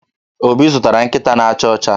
Obi zụtara nkịta na-acha ọcha.